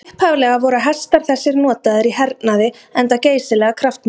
Upphaflega voru hestar þessir notaðir í hernaði enda geysilega kraftmiklir.